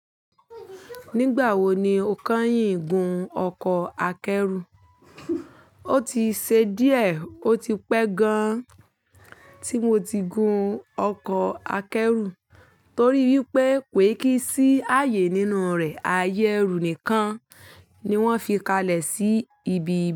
Nígbà wo ni o kẹ́yìn gun ọkọ̀ akẹ́rù? O ti ṣe díẹ̀ ó ti pẹ́ gan tí mo ti gun ọkọ̀ akẹ́rù torí wípé pé kò e kí sí ààyè nínú rẹ̀. Ayé ẹrú nìkan ni wọ́n fi kalẹ̀ sí ibi.